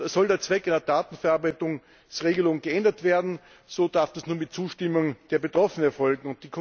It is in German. Soll der Zweck einer Datenverarbeitungsregelung geändert werden, so darf das nur mit Zustimmung der Betroffenen erfolgen.